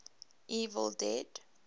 evil dead